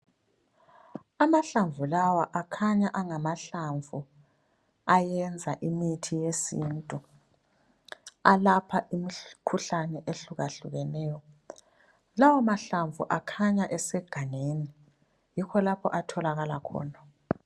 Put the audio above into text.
Amahlamvu lawa akhanya engamahlamvu ayenza imithi yesintu alapha imkhuhlane ehlukahlukeneyo Lawo mahlamvu akhanya esegangeni, yikho lapho atholakala khona.